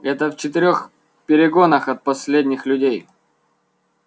это в четырёх перегонах от последних людей